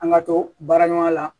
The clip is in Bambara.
An ka to baara ɲɔgɔnya la